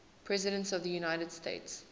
presidents of the united states